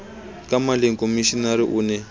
ka maleng komishenara o ne